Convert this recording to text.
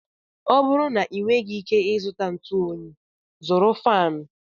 Ọ bụrụ na ị nweghị ike ị zụta ntụ Onyi, zụrụ faanụ.